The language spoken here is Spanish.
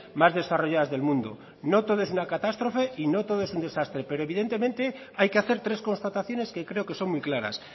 más desarrolladas del mundo no todo es una catástrofe y no todo es un desastre pero evidentemente hay que hacer tres constataciones que creo que son muy claras